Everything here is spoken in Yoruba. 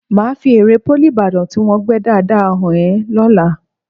Màá fi ère Pólì Ìbàdàn tí wọ́n gbẹ́ dáadáa hàn ẹ lọ́la